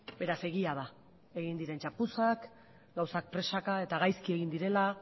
beraz egia da egin diren txapuzak gauzak presaka eta gaizki egin direla